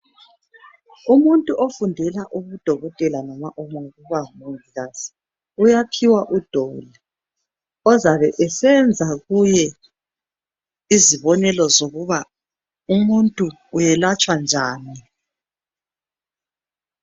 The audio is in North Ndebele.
Umuntu ofundela ubudokotela loma ukuba ngumongikazi uyaphiwa udoli ozoba esenza kuye izibonelo zokuba umuntu uyelatshwa njani.